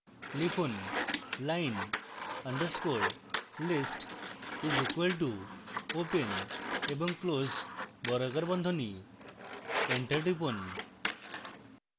লিখুন line underscore list is equal to open এবং close বর্গাকার বন্ধনী